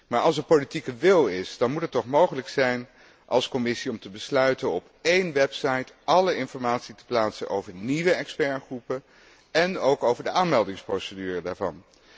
Maar als er politieke wil is, dan moet het toch mogelijk zijn om als Commissie te besluiten op één website alle informatie te plaatsen over de nieuwe deskundigengroepen en ook over de aanmeldingsprocedure daarvoor.